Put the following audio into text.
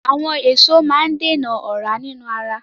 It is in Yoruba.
Àwọn èso máa ń dènà ọ̀ra inú ara